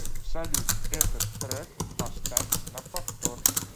салют этот трек поставь на повтор